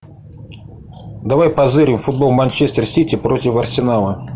давай позырим футбол манчестер сити против арсенала